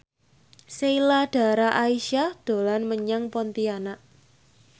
Sheila Dara Aisha dolan menyang Pontianak